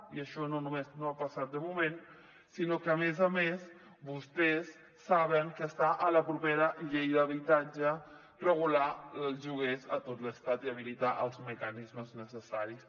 i això no només no ha passat de moment sinó que a més a més vostès saben que està a la propera llei d’habitatge regular els lloguers a tot l’estat i habilitar els mecanismes necessaris